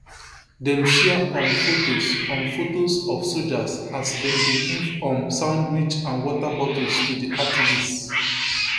dem share um photos um photos of soldiers as dem dey give um sandwich and water bottles to di activists